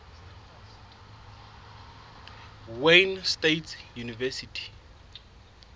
wayne state university